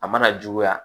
A mana juguya